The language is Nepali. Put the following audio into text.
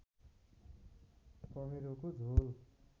कमेरोको झोल